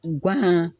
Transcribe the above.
U gana